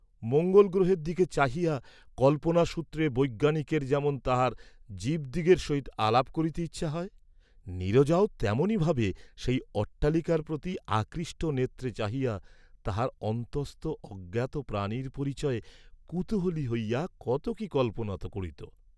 মঙ্গলগ্রহের দিকে চাহিয়া কল্পনা সূত্রে বৈজ্ঞানিকের যেমন তাহার জীবদিগের সহিত আলাপ করিতে ইচ্ছা হয়, নীরজাও তেমনই ভাবে সেই অট্টালিকার প্রতি আকৃষ্ট নেত্রে চাহিয়া তাহার অন্তস্থ অজ্ঞাত প্রাণীর পরিচয়ে কুতূহলী হইয়া কত কি কল্পনা করিত।